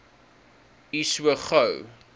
u so gou